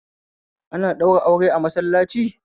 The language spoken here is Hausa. Ana ɗaura aure a masallac